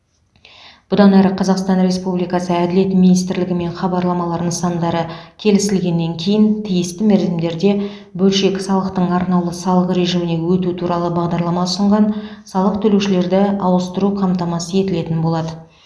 бұдан әрі қазақстан республикасы әділет министрлігімен хабарламалар нысандары келісілгеннен кейін тиісті мерзімдерде бөлшек салықтың арнаулы салық режиміне өту туралы хабарлама ұсынған салық төлеушілерді ауыстыру қамтамасыз етілетін болады